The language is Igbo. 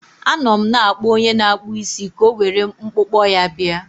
Anọ m na-akpọ onye na-akpụ isi ka o were mkpụkpọ ya bịa.